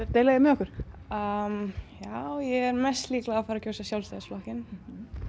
að deila því með okkur já ég er mest líklega að fara að kjósa Sjálfstæðisflokkinn